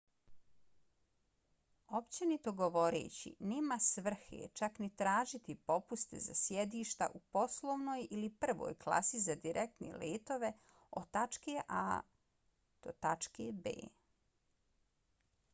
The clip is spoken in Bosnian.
općenito govoreći nema svrhe čak ni tražiti popuste za sjedišta u poslovnoj ili prvoj klasi za direktne letove od tačke a to tačke b